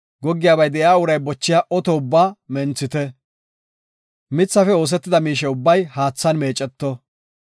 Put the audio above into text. “Goggiyabay de7iya uray bochiya oto ubbaa menthite; mithafe oosetida miishe ubbay haathan meeceto.